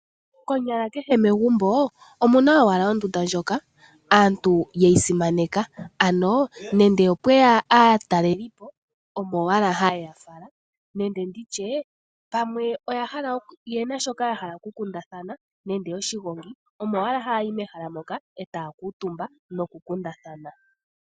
Konyala kehe megumbo omuna owahala ondunda ndjoka aantu ye yi simaneka, ano nande opweya aatalelipo omo owala haye ya fala nande nditye pamwe oye na shoka ya hala okukundatha nande oshigongi omo owala ha yayi mehala moka etaya kuutumba nokukundathana.